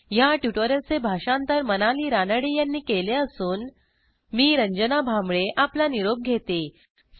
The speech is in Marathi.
ह्या ट्युटोरियलचे भाषांतर मनाली रानडे यांनी केले असून मी रंजना भांबळे आपला निरोप घेते160